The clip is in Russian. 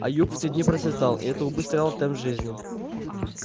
а юг в те дни процветал и это убыстряло темп жизни